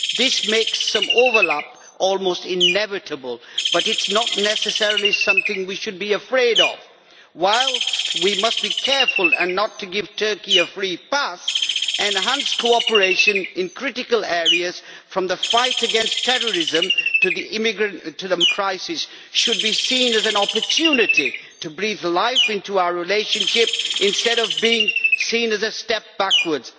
This makes some overlap almost inevitable, but it is not necessarily something we should be afraid of. Whilst we must be careful not to give Turkey a free pass, enhanced cooperation in critical areas, from the fight against terrorism to the migrant crisis, should be seen as an opportunity to breathe life into our relationship instead of being seen as a step backwards.